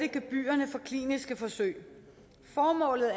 gebyrerne for kliniske forsøg formålet